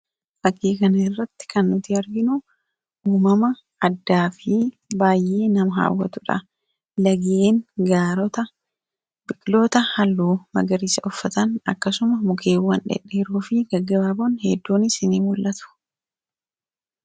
Fakkii kana irratti kan nuti arginu uumama addaa fi baay'ee nama hawwatudha. Laggeen, gaarreenii fi biqiloota halluu magariisa uffatan, akkasumas mukkeen dhedheeroo fi gaggabaaboon hedduunis in mul'atu.